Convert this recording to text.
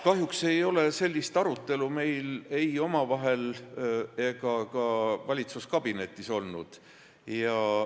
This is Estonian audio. Kahjuks ei ole sellist arutelu meil ei omavahel ega ka valitsuskabinetis olnud.